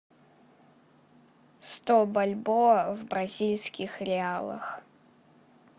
сто бальбоа в бразильских реалах